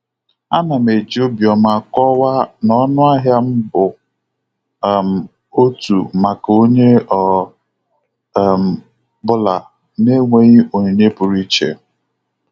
Ana m eji obiọma kọwaa na ọnụahịa m bu um otu maka onye ọ um bụla, na-enweghị onyinye pụrụ iche.